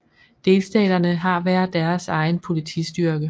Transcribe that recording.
Delstaterne har hver deres egen politistyrke